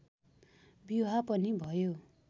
विवाह पनि भयो